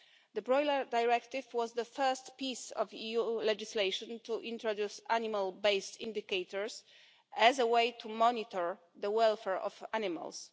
The Broiler Directive was the first piece of EU legislation to introduce animal-based indicators as a way to monitor the welfare of animals.